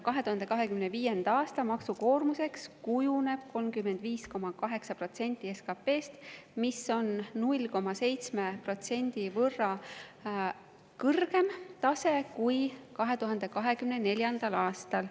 2025. aasta maksukoormuseks kujuneb 35,8% SKP‑st, mis on 0,7% võrra kõrgem tase kui 2024. aastal.